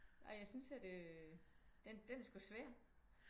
Nej jeg synes at øh den er sgu svær